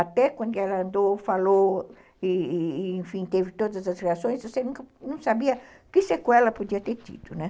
Até quando ela andou, falou, enfim, teve todas as reações, você não sabia que sequela podia ter tido, né?